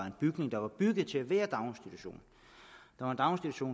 en bygning der er bygget til at være daginstitution